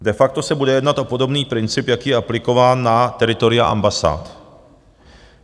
De facto se bude jednat o podobný princip, jaký je aplikován na teritoria ambasád.